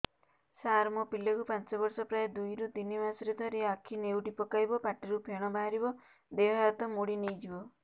ସାର ମୋ ପିଲା କୁ ପାଞ୍ଚ ବର୍ଷ ପ୍ରାୟ ଦୁଇରୁ ତିନି ମାସ ରେ ଥରେ ଆଖି ନେଉଟି ପକାଇବ ପାଟିରୁ ଫେଣ ବାହାରିବ ଦେହ ହାତ ମୋଡି ନେଇଯିବ